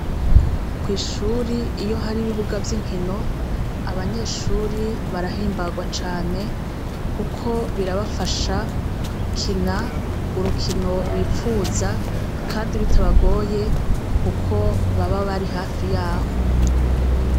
Kwishuri iyo hari ibibuga vy'inshino, abanyeshuri barahimbarwa cane, kuko birabafasha gukina urukino bipfuza kandi bitabagoye kuko baba bari hafi yaho.